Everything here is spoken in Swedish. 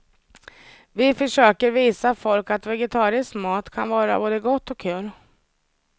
Vi fösöker visa folk att vegetarisk mat kan vara både gott och kul.